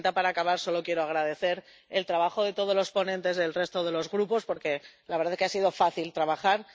Señora presidenta, para acabar, solo quiero agradecer el trabajo de todos los ponentes del resto de los grupos, porque la verdad es que ha sido fácil trabajar.